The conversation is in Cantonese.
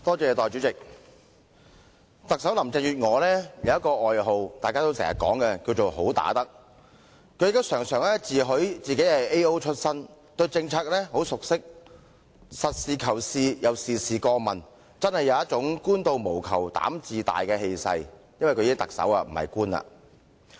代理主席，特首林鄭月娥有一個廣為人知的外號，就是"好打得"，而她亦時常自詡為 AO 出身，對政策非常熟悉，實事求是而且事事過問，確有"官到無求膽自大"的氣勢——她現已成為特首，不再是官員。